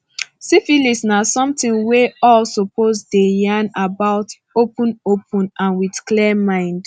siphilis na something we all suppose dey yarn about openopen and with clear mind